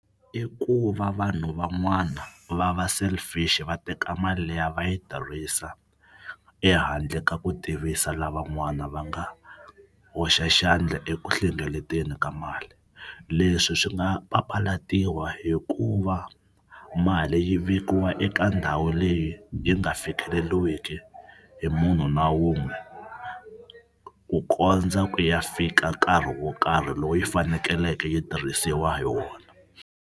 K ku va vanhu van'wana va va selfish va teka mali liya va yi tirhisa ehandle ka ku tivisa lavan'wana va nga hoxa xandla eku hlengeleteni ka mali. Leswi swi nga papalatiwa hikuva mali yi vekiwa eka ndhawu leyi yi nga fikeleliwiki hi munhu na wun'we ku kondza ku ya fika nkarhi wo karhi lowu yi fanekeleke yi tirhisiwa hi wona.